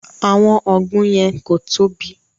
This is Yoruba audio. Àwọn ọgbùn yẹn ko tóbi.